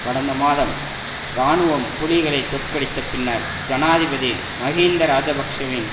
கடந்த மாதம் இராணுவம் புலிகளை தோற்கடித்த பின்னர் ஜனாதிபதி மஹிந்த இராஜபக்ஷவின்